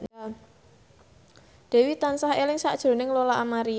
Dewi tansah eling sakjroning Lola Amaria